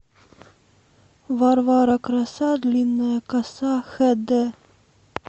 варвара краса длинная коса хэ дэ